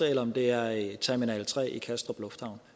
eller om det er i terminal tre i kastrup lufthavn